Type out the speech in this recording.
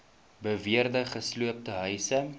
beweerde gesloopte huise